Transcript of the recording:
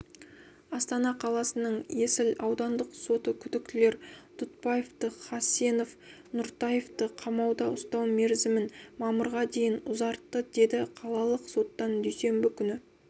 астана қаласының есіл аудандық соты күдіктілер дұтбаевты хасенов нұртаевты қамауда ұстау мерзімін мамырға дейін ұзартты деді қалалық соттан дүйсенбі күні